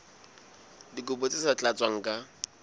dikopo tse sa tlatswang ka